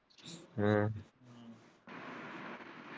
ਹਮ